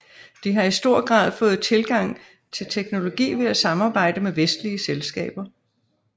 De har i stor grad fået tilgang til teknologi ved at sammarbejde med vestlige selskaber